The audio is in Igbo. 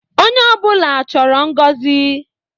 Onye ọbụla chọrọ ngọzi